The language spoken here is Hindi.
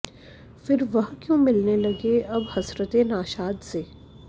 फिर वह क्यों मिलने लगे अब हसरते नाशाद से